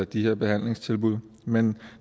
de her behandlingstilbud men